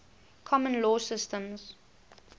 common law systems